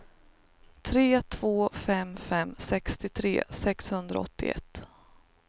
tre två fem fem sextiotre sexhundraåttioett